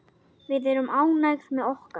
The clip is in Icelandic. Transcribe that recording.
Við erum ánægð með okkar.